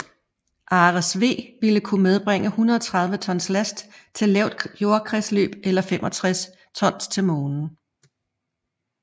Ares V ville kunne medbringe 130 tons last til lavt jordkredsløb eller 65 tons til Månen